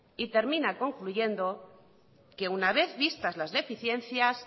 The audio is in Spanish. y termina concluyendo que una vez vistas las deficiencias